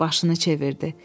Başını çevirdi.